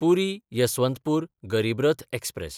पुरी–यसवंतपूर गरीब रथ एक्सप्रॅस